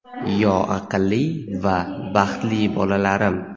yo aqlli va baxtli bolalarim;.